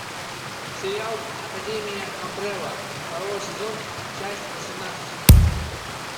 сериал академия амбрелла второй сезон часть восемнадцать